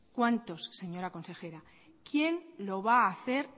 cuántos señora consejera quién lo va hacer